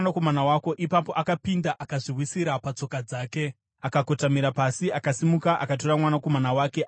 Ipapo akapinda, akazviwisira patsoka dzake akakotamira pasi, akasimuka akatora mwanakomana wake akabuda.